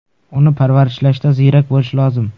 Uni parvarishlashda ziyrak bo‘lish lozim.